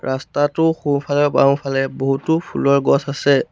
ৰাস্তাটোৰ সোঁফালে বাওঁফালে বহুতো ফুলৰ গছ আছে।